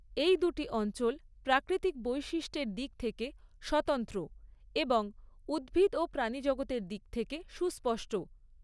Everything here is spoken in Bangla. এই দুটি অঞ্চল প্রাকৃতিক বৈশিষ্ট্যের দিক থেকে স্বতন্ত্র এবং উদ্ভিদ ও প্রাণীজগতের দিক থেকে সুস্পষ্ট।